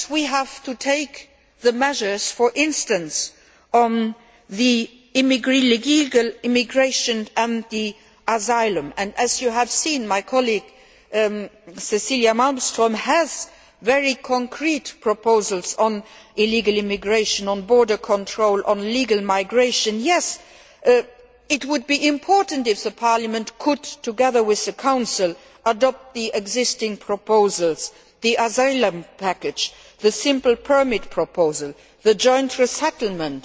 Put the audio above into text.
Yes, we have to take measures, for instance, on illegal immigration and asylum and, as you have seen, my colleague, Cecilia Malmström, has very concrete proposals on illegal immigration, on border controls, on legal migration. Yes, it would be important if the Parliament could, together with the Council, adopt the existing proposals, the asylum package, the simple permit proposal, the joint resettlement